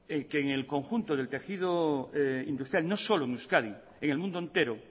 que en el conjunto de del tejido industrial no solo en euskadi en el mundo entero